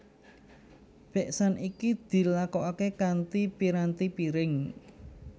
Beksan iki dilakokake kanthi piranti piring